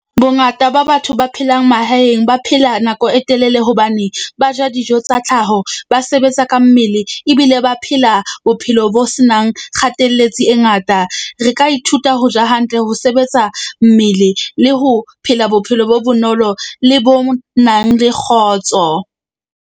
Bongata ba batho ba phelang mahaeng ba phela nako e telele hobane ba ja dijo tsa tlhaho. Ba sebetsa ka mmele ebile ba phela bophelo bo senang e ngata. Re ka ithuta ho ja hantle ho sebetsa mmele le ho phela bophelo bo bonolo le bo nang le kgotso.